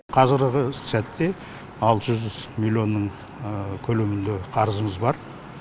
қазіргі сәтте алты жүз миллионның көлемінде қарызымыз бар